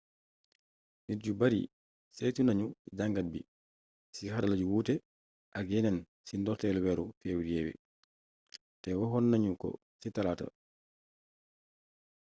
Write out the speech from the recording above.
nit yu bari saytu nañu jàngat bi ci xarala yu wuuté ak yéneen ci ndortéelu wééru fébrié té waxonna ñu ko ci talaaata